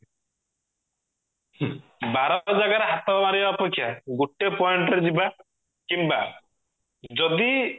ହୁଁ ବାର ଜାଗାରେ ହାତ ମାରିବା ଅପେକ୍ଷା ଗୋଟେ point ରେ ଯିବା କିମ୍ବା ଯଦି